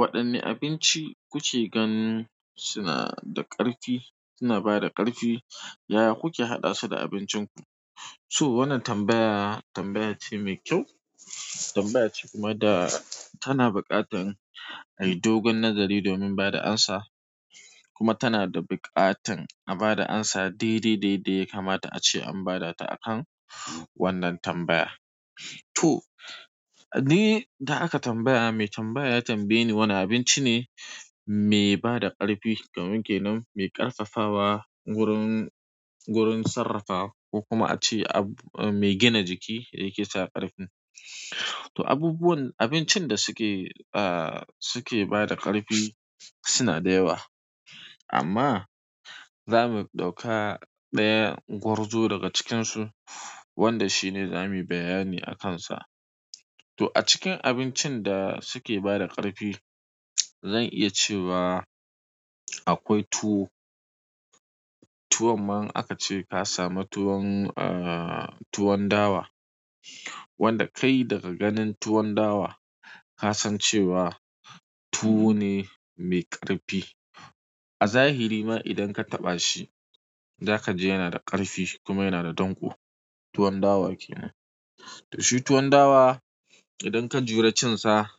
Waɗanne abinci kuke ganin suna da ƙarfi, suna bada ƙarfi, yaya kuke haɗa su da abincinku? So wannan tambaya, tambaya ce mai kyau. Tambaya ce kuma da tana buƙatan a yi dogon nazari domin bada amsa. Kuma tana da buƙatan a bada amsa daidai da yadda ya kamata ace an bada ta akan wannan tambaya to, ni da aka tambaya, mai tambaya ya tambaye ni wane abinci ne me bada ƙarfi kamar ke nan me ƙarfafawa gurin, gurin sarrafawa ko kuma a ce ab-- me gina jiki yake sa ƙarfi. To abubuwan, abincin da suke ah suke bada ƙarfi suna dayawa amma za mu ɗauka ɗaya gwarzo daga cikinsu wanda shine zamu yi bayani a kansa. To a cikin abincin da suke bada ƙarfi, zan iya cewa akwai tuwo. Tuwon ma in aka ce ka samu tuwon ah tuwon dawa wanda kai daga ganin tuwon dawa ka san cewa tuwo ne me ƙarfi. A zahiri ma idan ka taɓa shi, za ka ji yana da ƙarfi kuma yana da danƙo. Tuwon dawa ke nan. To shi tuwon dawa idan ka jure cin sa,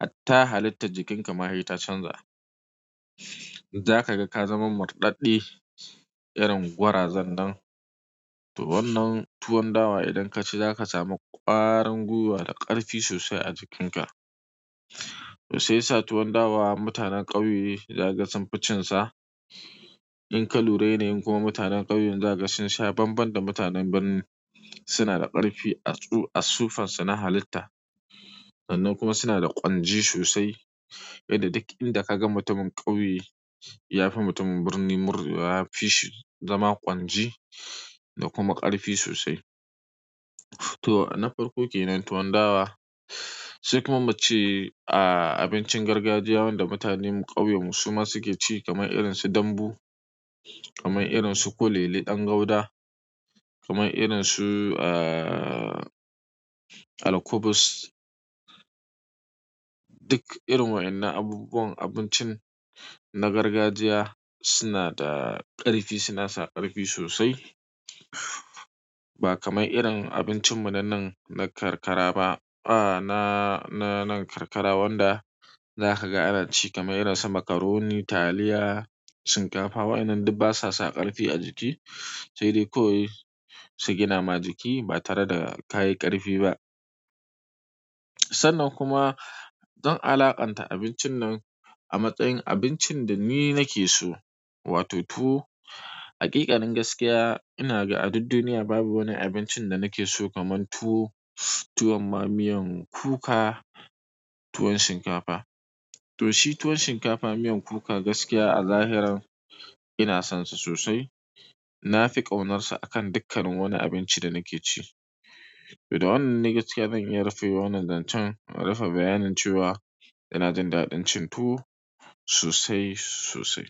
hatta halittar jikinka ma sai ta canza. Za ka ga ka zama murɗaɗɗe irin gwarazan nan to wannan tuwon dawa idan ka ci za ka samu ƙwarin gwiwa da ƙarfi sosai a jikinka. To sai sa tuwon dawa mutanen ƙauye za kaga sun fi cinsa in ka lura yanayin kuma mutanen ƙauyen zaka ga sun sha banban da mutanen birni suna da ƙarfi a tsu- a suffansu na halitta. Sannan kuma suna da ƙwanji sosai. Yadda duk inda ka ga mutumin ƙauye, ya fi mutumin birni murɗewa, ya fi shi zama ƙwanji da kuma ƙarfi sosai. To na farko ke nan tuwon dawa. Sai kuma mu ce, ah, abincin gargajiya wanda mutanen ƙauyen mu su ma suke ci kamar irin su dambu, kamar irin su kulele ɗan guda, kamar irin su, ah, alkubus. Duk irin wa'inan abubuwan abincin na gargajiya suna da ƙarfi, suna sa ƙarfi sosai. Ba kamar irin abincin mu na nan na karkara ba. Ah, na, na nan karkara wanda za ka ga ana ci kamar irin su macaroni, taliya, shinkafa. Wa'inan duk basa sa ƙarfi a jiki. Sai dai kawai su gina ma jiki ba tare da ka yi ƙarfi ba. Sannan kuma zan alaƙanta abincin nan a matsayin abincin da ni nake so, wato tuwo. Haƙiƙanin gaskiya ina ga a duk duniya babu wani abincin da nakeso kaman tuwo, tuwon ma miyan kuka, tuwon shinkafa to shi tuwon shinkafa miyan kuka gaskiya a zahiran ina son sa sosai. Na fi ƙaunarsa a kan dukkanin wani abinci da nake ci. To da wannan ne askiya zan iya rufe wannan zancen. In rufe bayanin cewa ina jin daɗin cin tuwo sosai sosai.